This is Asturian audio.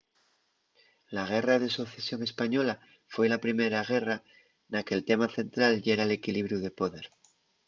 la guerra de socesión española foi la primera guerra na que’l tema central yera l’equilibriu de poder